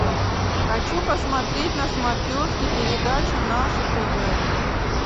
хочу посмотреть на смотрешке передачу наше тв